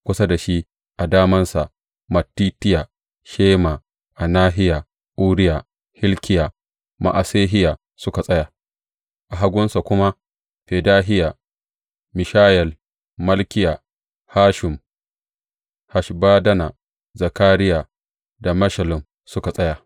Kusa da shi a damansa, Mattitiya, Shema, Anahiya, Uriya, Hilkiya da Ma’asehiya suka tsaya; a hagunsa kuma Fedahiya, Mishayel, Malkiya, Hashum, Hashbaddana, Zakariya da Meshullam suka tsaya.